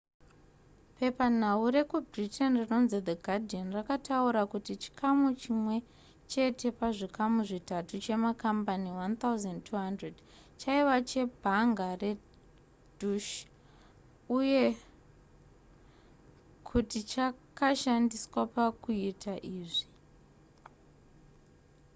pepanhau rekubritain rinonzi the guardian rakataura kuti chikamu chimwe chete pazvikamu zvitatu chemakambani 1 200 chaiva chebhanga redeutsche uye kuti chakashandiswa pakuita izvi